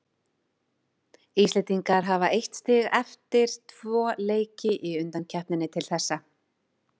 Íslendingar hafa eitt stig eftir tvö leiki í undankeppninni til þessa.